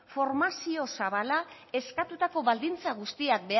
formazio zabala eskatutako baldintza guztiak